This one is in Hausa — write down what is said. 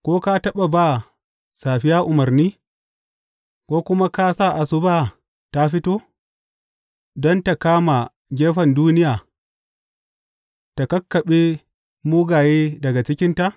Ko ka taɓa ba safiya umarni ko kuma ka sa asuba ta fito, don ta kama gefen duniya ta kakkaɓe mugaye daga cikinta?